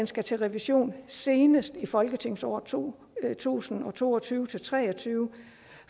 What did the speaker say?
skal til revision senest i folketingsåret to tusind og to og tyve til tre og tyve